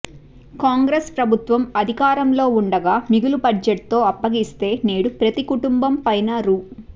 కాంగ్రెస్ ప్రభుత్వం అధికారంలో ఉండగా మిగులు బడ్జెట్తో అప్పగిస్తే నేడు ప్రతి కుటుంబం పైన రూ